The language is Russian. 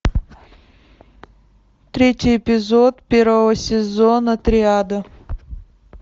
третий эпизод первого сезона триада